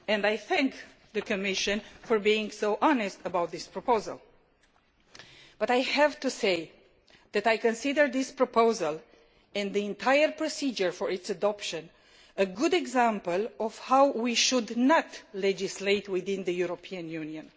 I thank the Commission for being so honest about the proposal, but have to say that I consider this proposal and the entire procedure for its adoption a good example of how we should not legislate within the European Union.